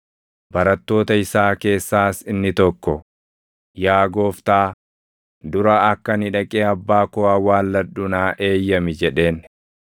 Barattoota isaa keessaas inni tokko, “Yaa Gooftaa, dura akka ani dhaqee abbaa koo awwaalladhu naa eeyyami!” jedheen.